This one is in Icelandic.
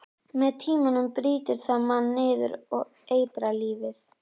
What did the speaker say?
Með tímanum brýtur það mann niður og eitrar lífið.